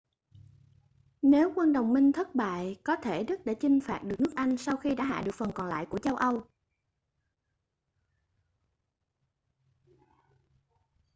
nếu quân đồng minh thất bại có thể đức đã chinh phạt được nước anh sau khi đã hạ được phần còn lại của châu âu